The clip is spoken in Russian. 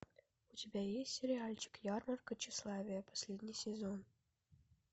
у тебя есть сериальчик ярмарка тщеславия последний сезон